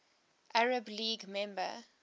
arab league member